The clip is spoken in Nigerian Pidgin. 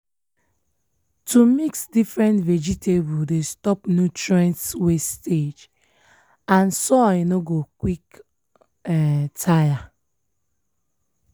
to mix different vegetables dey stop nutrients wastage and soil nor go quick um tire.